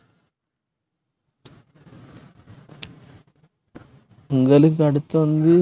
பொங்கலுக்கு அடுத்து வந்து